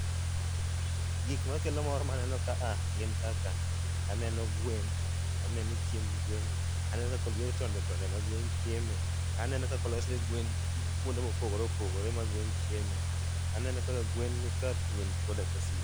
Gik makelo mor maneno ka a gin kaka, aneno gwen, aneno chiemb gwen, aneno kolier tonde tonde ma gwen chieme, aneno kaka olosne gwen kuonde mopogore opogore ma gwen chieme, aneno kaka gwen nika thuondi koda kasich.